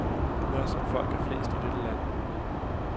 Jeg er som folk er flest i dette land.